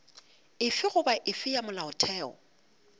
efe goba efe ya molaotheo